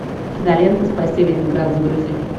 кинолента спасти ленинград загрузи